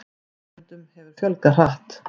En nemendum hefur fjölgað hratt.